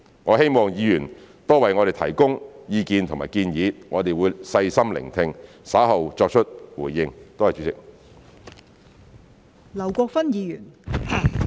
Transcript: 我希望議員多為我們提供意見和建議，我們會細心聆聽，稍後作出回應。